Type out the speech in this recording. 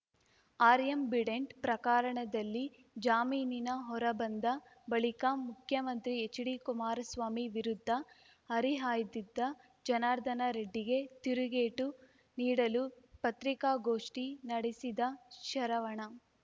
ಆರ್ಯಾಂಬಿಡೆಂಟ್‌ ಪ್ರಕಾರಣದಲ್ಲಿ ಜಾಮೀನಿನ ಹೊರಬಂದ ಬಳಿಕ ಮುಖ್ಯಮಂತ್ರಿ ಎಚ್‌ಡಿಕುಮಾರಸ್ವಾಮಿ ವಿರುದ್ಧ ಹರಿಹಾಯ್ದಿದ್ದ ಜನಾರ್ದನ ರೆಡ್ಡಿಗೆ ತಿರುಗೇಟು ನೀಡಲು ಪತ್ರಿಕಾಗೋಷ್ಠಿ ನಡೆಸಿದ ಶರವಣ